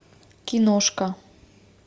киношка